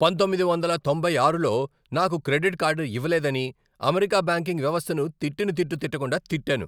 పంతొమ్మిది వందల తొంభై ఆరులో నాకు క్రెడిట్ కార్డు ఇవ్వలేదని, అమెరికా బ్యాంకింగ్ వ్యవస్థను తిట్టిన తిట్టు తిట్టకుండా తిట్టాను.